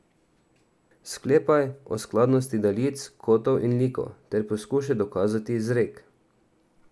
Sklepaj o skladnosti daljic, kotov in likov, ter poskušaj dokazati izrek.